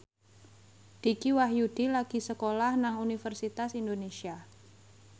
Dicky Wahyudi lagi sekolah nang Universitas Indonesia